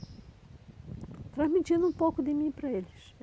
Transmitindo um pouco de mim para eles.